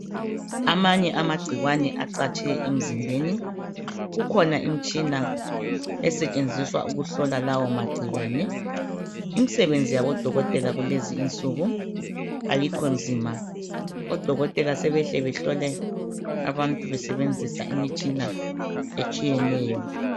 Amanye amagcikwane acatshe emzimbeni ikhona imitshina esetshenziswa ukubona lawo mangcikwane imsebenzi yabo dokotela kulezi insuku ayikho nzima odokotela sebehle behlole abantu besebenzisa imitshina ehlukeneyo